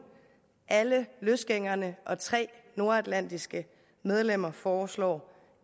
alle løsgængerne og tre nordatlantiske medlemmer foreslår